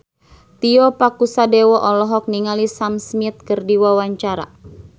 Tio Pakusadewo olohok ningali Sam Smith keur diwawancara